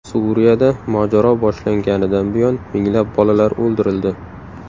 Suriyada mojaro boshlanganidan buyon minglab bolalar o‘ldirildi.